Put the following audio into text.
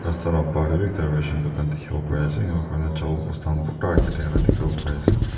rasta la bahar de b ekta ration dukan dikibo pari ase enga kurina jaaol bosta kan borta raki dakala dikibo pari ase.